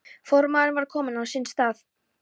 Formaðurinn var kominn á sinn stað.